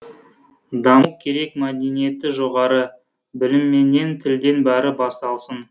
даму керек мәдениеті жоғары білімменен тілден бәрі басталсын